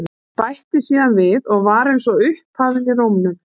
Bætti síðan við og var eins og upphafin í rómnum